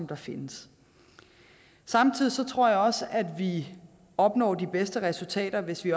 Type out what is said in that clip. der findes samtidig tror jeg også at vi opnår de bedste resultater hvis vi